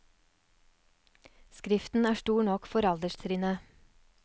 Skriften er stor nok for alderstrinnet.